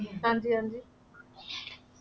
ਹਾਂਜੀ ਹਾਂਜੀ